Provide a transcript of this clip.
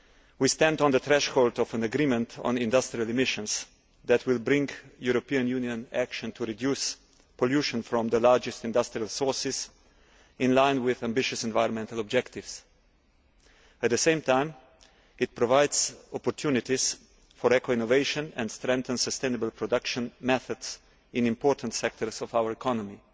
We are at the threshold of an agreement on industrial emissions that will bring European Union action to reduce pollution from the largest industrial sources into line with ambitious environmental objectives. At the same time, it will provide opportunities for eco innovation and strengthen sustainable production methods in important sectors of our economy.